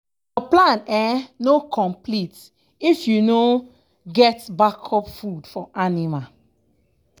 your plan um no um complete if you no um get backup food for anima.